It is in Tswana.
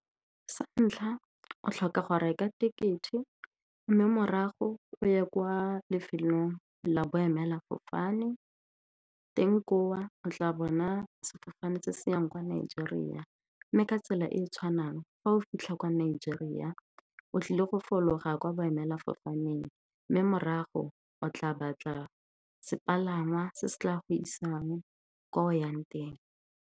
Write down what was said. Sa ntlha o tlhoka go reka ticket-e, mme morago o ye kwa lefelong la boemelafofane teng ko o o tla bona sefofane se se yang kwa Nigeria. Mme ka tsela e e tshwanang, fa o fitlha kwa Nigeria, o tlile go fologa kwa boemelafofaneng, mme morago o tla batla sepalangwa se se tla go isang kwa o yang teng.